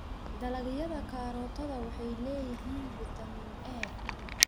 Dalagyada karootada waxay leeyihiin fiitamiin A.